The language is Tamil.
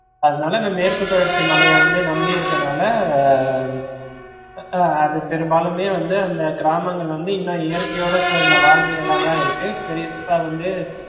அதுனால இந்த மேற்குத்தொடர்ச்சி மலைய வந்து நம்பி இருக்கநால ஆஹ் அது பெரும்பாலுமே வந்து இந்த கிராமங்கள் வந்து இன்னும் இயற்கையோட சேர்ந்த வாழ்வியல்லாதா இருக்கு குறிப்பா வந்து